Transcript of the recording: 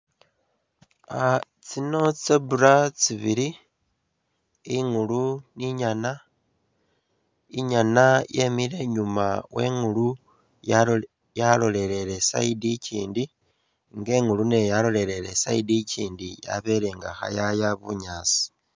Ah tsino tsi zebra tsibili ,ingulu ni inyana ,inyana yemile inyuma we ingulu yalo yalolelele eside ikyindi nga ingulu nayo yalolelele eside ikyindi yabele nga kheyaya bunyaasi